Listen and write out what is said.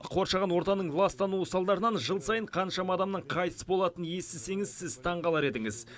қоршаған ортаның ластануы салдарынан жыл сайын қаншама адамның қайтыс болатынын естісеңіз сіз таңғалар едіңіз